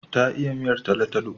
Ta iya miyar talo-talo.